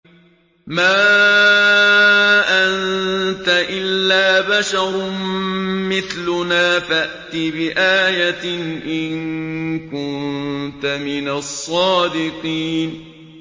مَا أَنتَ إِلَّا بَشَرٌ مِّثْلُنَا فَأْتِ بِآيَةٍ إِن كُنتَ مِنَ الصَّادِقِينَ